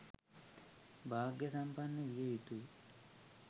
භාග්‍යසම්පන්න විය යුතුයි.